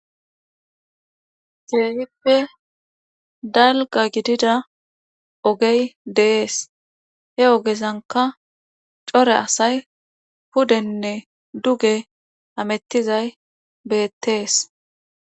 Keehippe dalgga gidida ogey de7ees he ogezankka cora asay pudenne duge hamettizaty beettees.